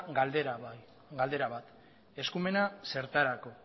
galdera bat eskumena zertarako